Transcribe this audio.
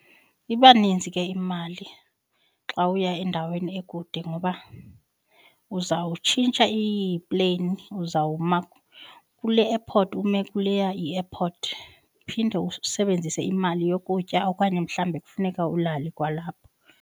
Iba ninzi ke imali xa uya endaweni ekude ngoba uzawutshintsha iipleyini, uzawuma kule airport, ume kuleya i-airport. Phinde usebenzise imali yokutya okanye mhlawumbi kufuneka ulale kwalapho.